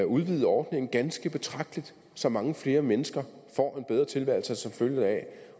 udvidet ordningen ganske betragteligt så mange flere mennesker får en bedre tilværelse som følge deraf